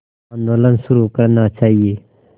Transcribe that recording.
आंदोलन शुरू करना चाहिए